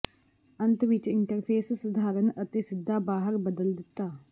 ਅੰਤ ਵਿੱਚ ਇੰਟਰਫੇਸ ਸਧਾਰਨ ਅਤੇ ਸਿੱਧਾ ਬਾਹਰ ਬਦਲ ਦਿੱਤਾ